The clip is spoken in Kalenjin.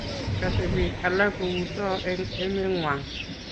kose biik alak kou too eng' emeng'wang'.